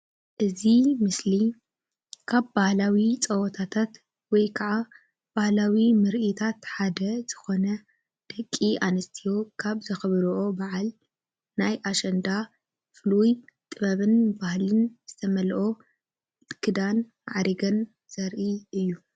እዚ ምስሊ ካብ ባህላዊ ፀወታታት ወይ ክዓ ባህላዊ ምርኢታት ሓደ ዝኾነ ደቂ ኣንስትዮ ካብ ዘኽብርኦ በዓል ናይ ኣሸንዳ ፍሉይ ጥበብን ባህልን ዝተመልኦ ክዳን ማዕሪገን ዘርኢ እዩ።